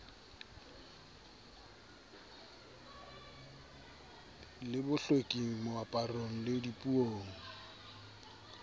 le bohlweki moaparong le dipuong